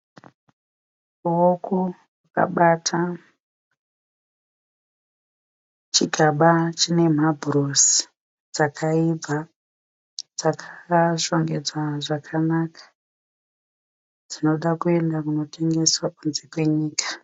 Muoko akabata chigaba chine habhurosi dzakaibva dzakashongedzwa zvakanaka dzinoda kunotengeswa kunze kwenyika.